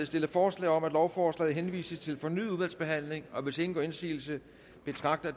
stillet forslag om at lovforslaget henvises til fornyet udvalgsbehandling og hvis ingen gør indsigelse betragter